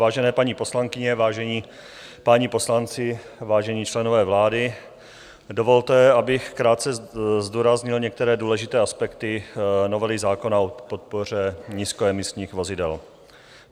Vážené paní poslankyně, vážení páni poslanci, vážení členové vlády, dovolte, abych krátce zdůraznil některé důležité aspekty novely zákona o podpoře nízkoemisních vozidel.